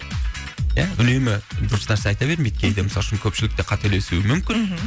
ия үнемі дұрыс нәрсе айта бермейді кейде мысалы үшін көпшілік те қателесуі мүмкін мхм